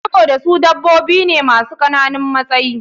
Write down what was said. Sabida su dabobi ne masu kananun matsayi.